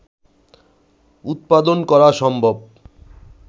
উৎপাদন করা সম্ভব